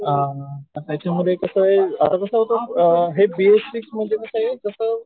अ त्याच्यामध्ये कसं आहे हे बी एस सिक्स म्हणजे कसं आहे जसं